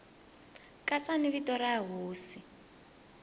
katsa ni vito ra hosi